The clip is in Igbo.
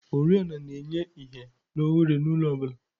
oriọna na-enye ìhè na ohere n'ụlọ ọ bụla.